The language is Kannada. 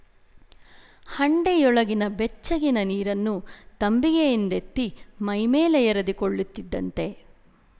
ಹಂಡೆಯೊಳಗಿನ ಬೆಚ್ಚಗಿನ ನೀರನ್ನು ತಂಬಿಗೆಯಿಂದೆತ್ತಿ ಮೈಮೇಲೆ ಎರೆದುಕೊಳ್ಳುತ್ತಿದ್ದಂತೆ